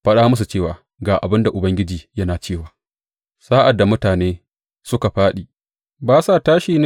Fada musu cewa, Ga abin da Ubangiji yana cewa, Sa’ad da mutane suka fāɗi, ba sa tashi ne?